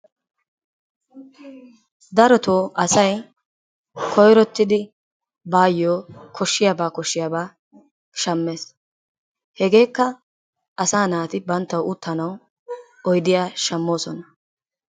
Darottoo asay koyrottidi baayyo kashdhiyaba koshiyabaa shammees. Hageekka asaa naati banttawu uttanawu oydiya shammoosona.